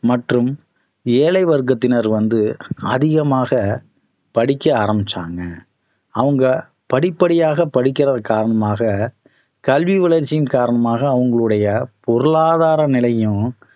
மற்றும் ஏழை வர்க்கத்தினர் வந்து அதிகமாக படிக்க ஆரம்பிச்சாங்க அவங்க படிப்படியாக படிக்கிறது காரணமாக கல்வி வளர்ச்சியின் காரணமாக அவங்களுடைய பொருளாதார நிலையையும்